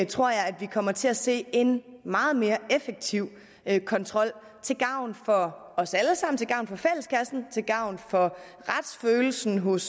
tror jeg at vi kommer til at se en meget mere effektiv kontrol til gavn for os alle sammen til gavn for fælleskassen til gavn for retsfølelsen hos